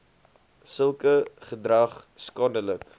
sulke gedrag skadelik